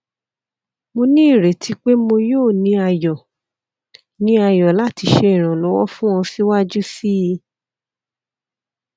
mo ni ireti pe mo yoo ni ayọ ni ayọ lati ṣe iranlọwọ fun ọ siwaju sii